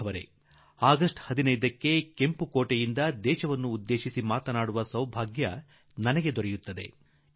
ಒಲವಿನ ದೇಶವಾಸಿಗಳೇ ಆಗಸ್ಟ್ 15ರಂದು ಕೆಂಪುಕೋಟೆಯಿಂದ ದೇಶದೊಡನೆ ಮಾತನಾಡುವ ಒಂದು ಸೌಭಾಗ್ಯ ನನಗೆ ಸಿಗುತ್ತದೆ